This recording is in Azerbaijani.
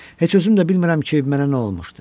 Heç özüm də bilmirəm ki, mənə nə olmuşdu.